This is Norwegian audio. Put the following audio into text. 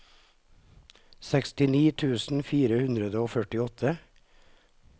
sekstini tusen fire hundre og førtiåtte